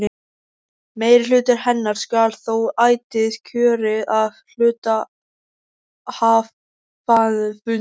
Meirihluti hennar skal þó ætíð kjörinn af hluthafafundi.